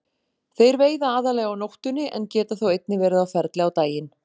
Þeir veiða aðallega á nóttunni en geta þó einnig verið á ferli á daginn.